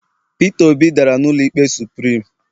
peter obi dara n'ụlọ ikpe supirim